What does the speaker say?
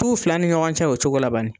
T'u fila ni ɲɔgɔn cɛ la o cogo la bani.